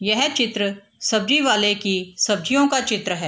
यह चित्र सब्जी वाले की सब्जियों का चित्र है।